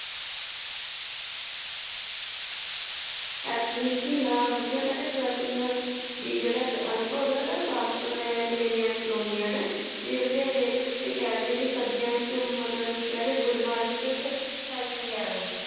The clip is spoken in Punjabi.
ਐਲਪੀਨ ਝੀਲਾਂ ਵਧੀਆ ਕਹਿੰਦੇ tracking ਵੀ ਜਿਹੜਾ ਇੱਕ ਅਨੁਭਵ ਹੈ ਉਹਦਾ ਅਹਿਸਾਸ ਮਤਲਬ ਪ੍ਰੇਮੀਆਂ ਨੂੰ ਦਿਲਾਉਂਦੀਆਂ ਨੇ, ਵੀ ਵਧੇਰੇ ਇਹਦੇ ਵਿੱਚ ਕਹਿ ਲਈਏ ਕਿ ਸਰਦੀਆਂ ਵਿੱਚ ਮਤਲਬ ਇੱਕ ਕਹਿ ਲਈਏ ਗੁਲਮਾਰਗ ਇੱਕ ਹੈ ਉਹ